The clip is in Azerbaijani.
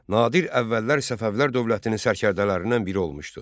Nadir əvvəllər Səfəvilər dövlətinin sərkərdələrindən biri olmuşdu.